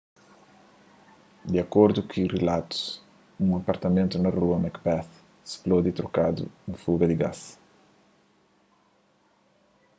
di akordu ku rilatus un apartamentu na rua macbeth spludi trokadu un fuga di gás